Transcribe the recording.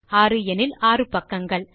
6 எனில் 6 பக்கங்கள்